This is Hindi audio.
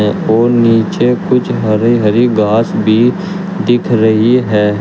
और नीचे कुछ हरी हरी घास भी दिख रही है।